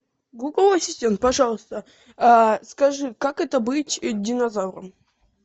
гугл ассистент пожалуйста скажи как это быть динозавром